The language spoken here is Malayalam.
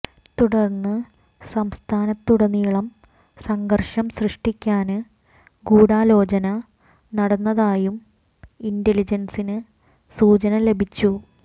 തുടര്ന്ന് സംസ്ഥാനത്തുടനീളം സംഘര്ഷം സൃഷ്ടിക്കാന് ഗൂഢാലോചന നടന്നതായും ഇന്റലിജന്സിന് സൂചന ലഭിച്ചു